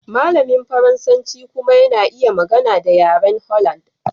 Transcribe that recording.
Malamin Faransanci kuma yana iya magana da yaren Holland.